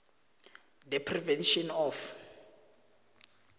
the prevention of